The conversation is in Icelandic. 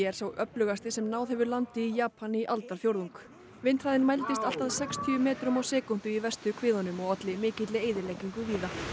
er sá öflugasti sem náð hefur landi í Japan í aldarfjórðung vindhraðinn mældist allt að sextíu metrum á sekúndu í verstu kviðunum og olli mikilli eyðileggingu